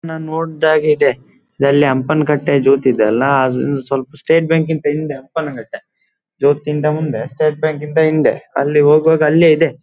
ಎನೋ ನೋಡ್ಹಾಗಿದೆ ಇಲ್ಲೆ ಹಂಪನಕಟ್ಟೆ ಜ್ಯೋತಿ ಇದ್ಯಲ್ಲ ಅಲ್ಲಿಂದ ಸ್ವಲ್ಪ ಸ್ಟೇಟ್ ಬ್ಯಾಂಕ್ ಹಿಂದೆ ಹಂಪನಕಟ್ಟೆ ಜ್ಯೋತಿಯಿಂದ ಮುಂದೆ ಸ್ಟೇಟ್ ಬ್ಯಾಂಕಿಂದ ಹಿಂದೆ ಅಲ್ಲೆ ಹೋಗುವಾಗ ಅಲ್ಲೆ ಇದೆ.